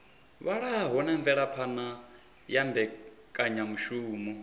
vhalaho na mvelaphana ya mbekanyamushumo